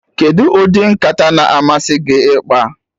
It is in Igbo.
Kedụ ụdị nkata na-amasị gị ịkpa?